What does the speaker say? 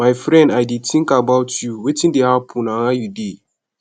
my friend i dey think about you wetin dey happen and how you dey